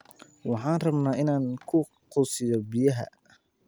Waxaan rabaa in aan ku quusiyo biyaha